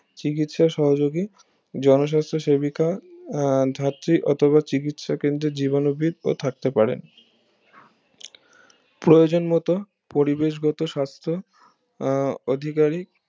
চিকিৎসা সহযোগী জনস্বাস্থ সেবিকা আহ ধাত্রী অথবা চিকিৎসা কেন্দ্রে জীবাণুবিদ ও থাকতে পারে প্রয়োজন মতো পরিবেশ গত সাস্থ আহ অধিকারী